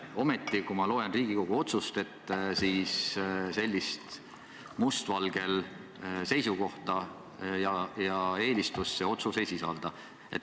Ometi, kui ma loen Riigikogu otsust, siis sellist must valgel seisukohta ja eelistust see otsus ei sisalda.